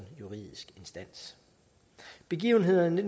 juridisk instans begivenhederne i